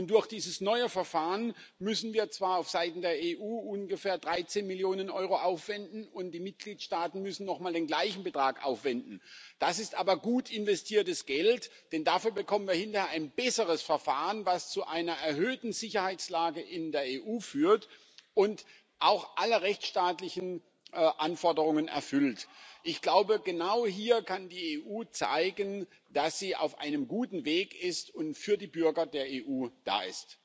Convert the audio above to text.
Durch dieses neue Verfahren müssen wir zwar auf Seiten der EU ungefähr 13 Millionen Euro aufwenden, und die Mitgliedstaaten müssen nochmal den gleichen Betrag aufwenden, das ist aber gut investiertes Geld, denn dafür bekommen wir hinterher ein besseres Verfahren, was zu einer besseren Sicherheitslage in der EU führt und auch alle rechtstaatlichen Anforderungen erfüllt. Ich glaube, genau hier kann die EU zeigen, dass sie auf einem guten Weg ist und für die Bürger der EU da ist.